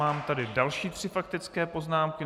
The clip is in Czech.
Mám tady další tři faktické poznámky.